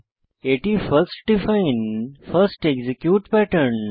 এটি first define first execute pattern